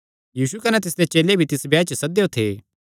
यीशु कने तिसदे चेले भी तिस ब्याह च सद्देयो थे